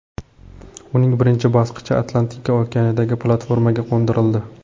Uning birinchi bosqichi Atlantika okeanidagi platformaga qo‘ndirildi.